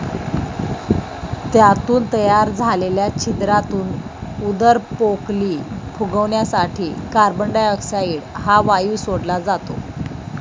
त्यातून तयार झालेल्या छिद्रातून उदरपोकली फुगवण्यासाठी कार्बन डायऑक्साइड हा वायू सोडला जातो.